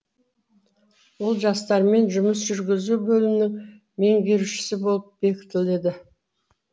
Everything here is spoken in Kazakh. ол жастармен жұмыс жүргізу бөлімінің меңгерушісі болып бекітіледі